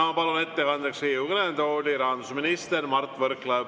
Ma palun ettekandeks Riigikogu kõnetooli rahandusminister Mart Võrklaeva.